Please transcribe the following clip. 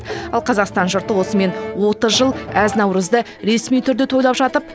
ал қазақстан жұрты осымен отыз жыл әз наурызды ресми түрде тойлап жатып